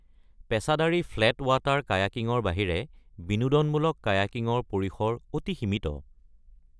পেছাদাৰী flat water কায়াকিঙৰ বাহিৰে বিনোদনমূলক কায়াকিঙৰ পৰিসৰ অতি সীমিত।